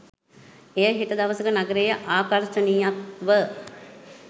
එය හෙට දවසක නගරයේ ආකර්ෂණීයත්ව